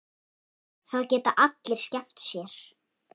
Það geta allir skemmt sér.